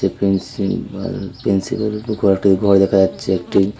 প্রিন্সীবাল প্রিন্সিপালের ঘর দেখা যাচ্ছে একটি।